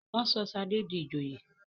wón sọ Shade dì ìjòyè